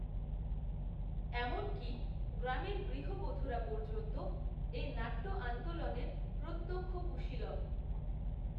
এমনকী, গ্রামের গৃহবধূরা পর্যন্ত, এই নাট্য আন্দোলনের, প্রত্যক্ষ কূশীলব